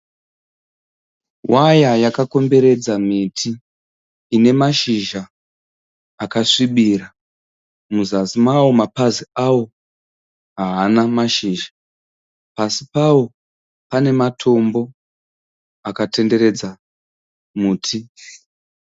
Waya yakakomberedza miti ine mashizha akasvibira, muzasi mawo mapazi awo haana mashizha pasi pawo panematombo akatenderedza muti.